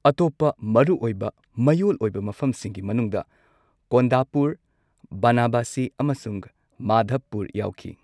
ꯑꯇꯣꯞꯄ ꯃꯔꯨꯑꯣꯏꯕ ꯃꯌꯣꯜ ꯑꯣꯏꯕ ꯃꯐꯝꯁꯤꯡꯒꯤ ꯃꯅꯨꯡꯗ ꯀꯣꯟꯗꯥꯄꯨꯔ, ꯕꯅꯥꯕꯁꯤ, ꯑꯃꯁꯨꯡ ꯃꯥꯙꯕꯄꯨꯔ ꯌꯥꯎꯈꯤ꯫